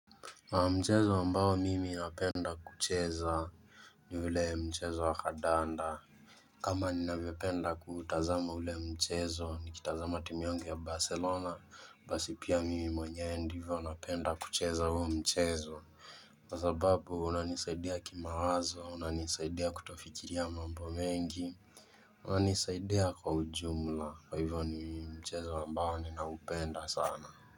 Na mchezo wa mbao mimi inapenda kucheza ni ule mchezo wa kandanda kama ninavyopenda kutazama ule mchezo nikitazama timu yangu ya Barcelona basi pia mimi mwenye hivyo unapenda kucheza uo mchezo Kwa sababu unanisaidea kima wazo unanisaidea kutofikiria mambo mengi Unanisaidea kwa ujumla wa hivyo ni mchezo wa mbao ninaupenda sana.